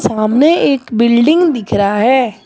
सामने एक बिल्डिंग दिख रहा है।